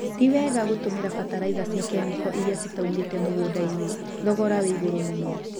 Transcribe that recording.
Tiwega gũtũmĩra bataraitha cia kemiko iria citaumĩte mũgũndainĩ, thogora wĩigũrũ mũno..